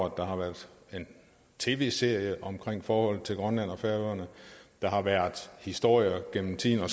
at der har været en tv serie om forholdet til grønland og færøerne der har været historier gennem tiden og